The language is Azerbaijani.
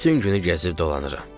Bütün günü gəzib dolanıram.